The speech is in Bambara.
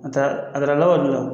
A taa a taara k'a b'a dila